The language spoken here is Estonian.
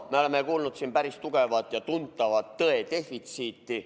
Me oleme kogenud siin päris tugevat ja tuntavat tõe defitsiiti.